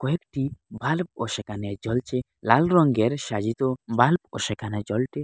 একটি ভাল্বও সেখানে জ্বলছে লাল রংগের সাজিত ভাল্বও সেখানে ।